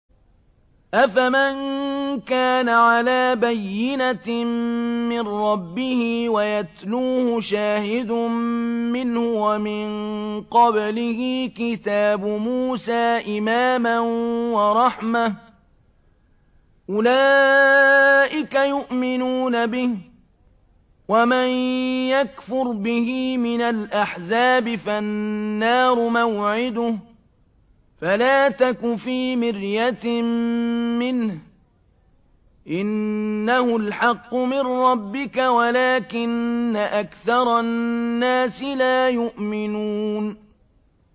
أَفَمَن كَانَ عَلَىٰ بَيِّنَةٍ مِّن رَّبِّهِ وَيَتْلُوهُ شَاهِدٌ مِّنْهُ وَمِن قَبْلِهِ كِتَابُ مُوسَىٰ إِمَامًا وَرَحْمَةً ۚ أُولَٰئِكَ يُؤْمِنُونَ بِهِ ۚ وَمَن يَكْفُرْ بِهِ مِنَ الْأَحْزَابِ فَالنَّارُ مَوْعِدُهُ ۚ فَلَا تَكُ فِي مِرْيَةٍ مِّنْهُ ۚ إِنَّهُ الْحَقُّ مِن رَّبِّكَ وَلَٰكِنَّ أَكْثَرَ النَّاسِ لَا يُؤْمِنُونَ